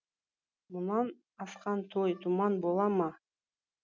мұнан асқан той думан бола ма